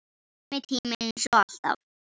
Sami tími.